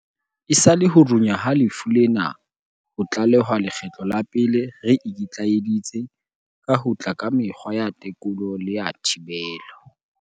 Esale ho runya ha lefu lena ho tlalehwa lekgetlo la pele re ikitlaeditse ka ho tla ka mekgwa ya tekolo le ya thibelo.